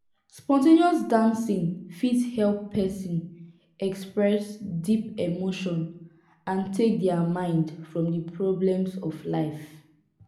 spon ten ous dancing fit help person express deep emotion and take their mind from di problems of life